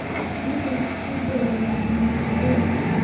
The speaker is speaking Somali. Aniga majeclii madhax aadeg.